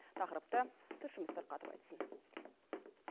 тақырыпты тілшіміз тарқатып айтсын